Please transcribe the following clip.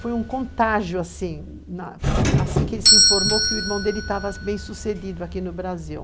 Foi um contágio assim que ele se informou que o irmão dele estava bem sucedido aqui no Brasil.